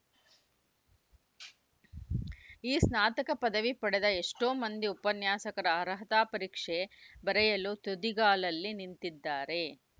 ಈ ಸ್ನಾತಕ ಪದವಿ ಪಡೆದ ಎಷ್ಟೋ ಮಂದಿ ಉಪನ್ಯಾಸಕರ ಅರ್ಹತಾ ಪರೀಕ್ಷೆ ಬರೆಯಲು ತುದಿಗಾಲಲ್ಲಿ ನಿಂತಿದ್ದಾರೆ